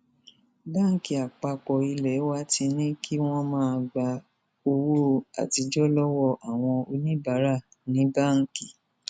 báńkì àpapọ ilé wa ti ní kí wọn máa gba owó àtijọ lọwọ àwọn oníbàárà ní báńkì